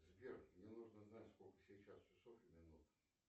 сбер мне нужно знать сколько сейчас часов и минут